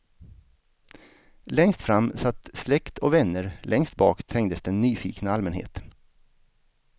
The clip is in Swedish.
Längst fram satt släkt och vänner, längst bak trängdes den nyfikna allmänheten.